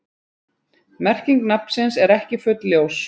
Merking nafnsins er ekki fullljós.